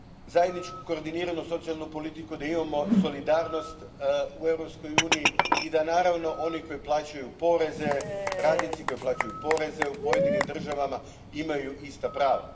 zajedničku koordiniranu socijalnu politiku, da imamo solidarnost u Europskoj uniji i da, naravno, oni koji plaćaju poreze, radnici koji plaćaju poreze u pojedinim državama imaju ista prava.